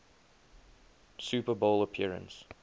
super bowl appearance